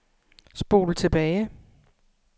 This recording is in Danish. spol tilbage